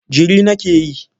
Jiri nake yi.